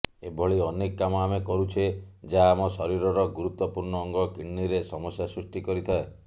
ଏଭଳି ଅନେକ କାମ ଆମେ କରୁଛେ ଯାହା ଆମ ଶରୀରର ଗୁରୁତ୍ୱପୂର୍ଣ୍ଣ ଅଙ୍ଗ କିଡ୍ନୀରେ ସମସ୍ୟା ସୃଷ୍ଟି କରିଥାଏ